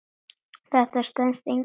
Þetta stenst enga skoðun.